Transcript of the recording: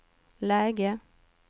läge